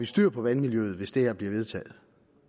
styr på vandmiljøet hvis det her bliver vedtaget